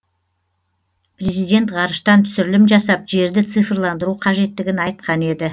президент ғарыштан түсірілім жасап жерді цифрландыру қажеттігін айтқан еді